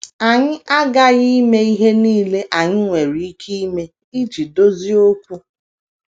Anyị aghaghị ime ihe nile anyị nwere ike ime iji dozie okwu.